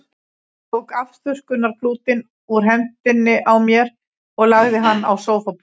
Hann tók afþurrkunarklútinn úr hendinni á mér og lagði hann á sófaborðið.